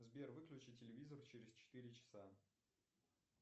сбер выключи телевизор через четыре часа